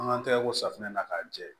An k'an tɛgɛ ko safunɛ na k'a jɛ